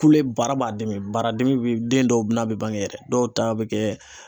Kule baara b'a dimi, baara dimi bi den dɔw n'a bɛ bange yɛrɛ , dɔw ta bɛ kɛ